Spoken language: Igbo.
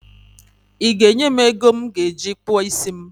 I ga enye m ego m ga eji kpụọ isi m?